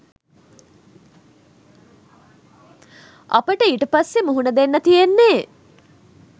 අපට ඊට පස්සේ මුහුණ දෙන්න තියෙන්නේ